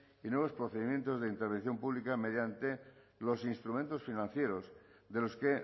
y nuevos procedimientos de intervención pública mediante los instrumentos financieros de los que